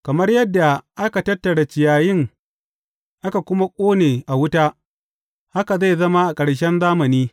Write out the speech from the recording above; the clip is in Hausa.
Kamar yadda aka tattara ciyayin aka kuma ƙone a wuta, haka zai zama a ƙarshen zamani.